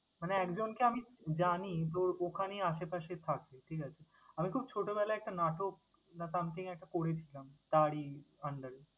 মানে একজনকে আমি জানি, তোর ওখানেই আসে পাশে থাকে, ঠিক আছে? আমি ছোটবেলায় নাটক বা something একটা করেছিলাম তারই under এ।